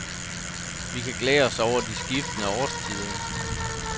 Vi kan glæde os over de skiftende årstider.